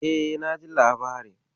E, naji labarin.